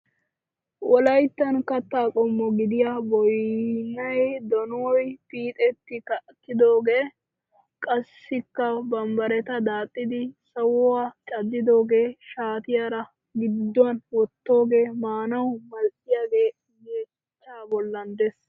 Wolayittan katta qommo gidiya boyyiyanne donuwaa piiti kattidoogaa. Qassikka bambbaita daaxxidi sawuwa caddidoogee shaatiyaara gidduwan wottoogee maanawu mal'iyagee yeechchaa bollan des.